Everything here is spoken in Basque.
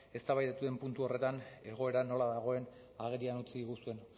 eztabaidatu den puntu horretan egoera nola dagoen agerian utzi diguzuen